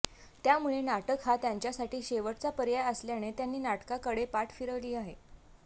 त्यामुळे नाटक हा त्यांच्यासाठी शेवटचा पर्याय असल्याने त्यांनी नाटकाकडे पाठ फिरवली आहे